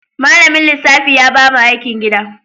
Malamin lissafi ya ba mu aikin gida.